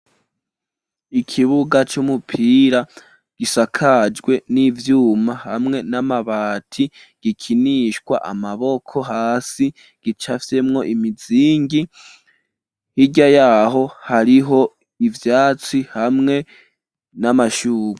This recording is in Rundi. Ikibuga c’umupira gisakajwe n'ivyuma hamwe n'amabati, gikinishwa amaboko hasi gicafyemwo imizingi, hirya yaho hariho ivyatsi hamwe n'amashurwe.